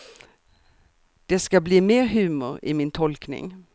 Det ska bli mer humor i min tolkning.